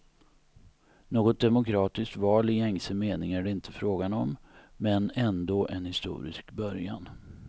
Något demokratiskt val i gängse mening är det inte fråga om, men ändå en historisk början.